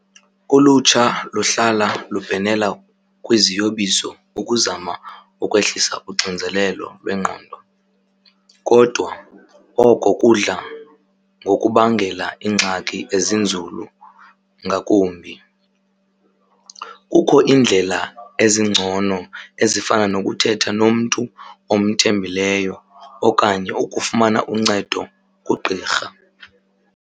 Ulutsha luhlala lubhenela kwiziyobiso ukuzama ukwehlisa uxinzelelo lwengqondo. Kodwa oko kudla ngokubangela iingxaki ezinzulu ngakumbi. Kukho iindlela ezingcono ezifana nokuthetha nomntu omthembileyo okanye ukufumana uncedo kugqirha.